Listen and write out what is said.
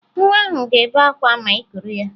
Nwa ahụ ga-ebe akwa ma ị kuru ya